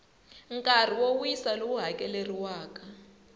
nkarhi wo wisa lowu hakeleriwaka